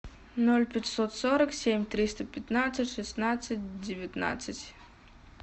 ноль пятьсот сорок семь триста пятнадцать шестнадцать девятнадцать